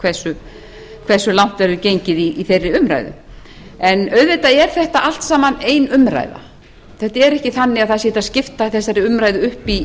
hversu langt verður gengið í þeirri umræðu auðvitað er þetta allt saman ein umræða þetta er ekki þannig að hægt sé að skipta þessari umræðu upp